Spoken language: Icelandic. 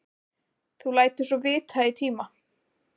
Þú lætur svo vita í tíma.